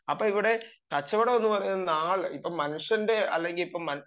അപ്പം ഇവിടെ കച്ചവടം എന്ന് പറയുന്ന ആൾ ഇപ്പം മനുഷ്യന്റെ അല്ലെങ്കിൽ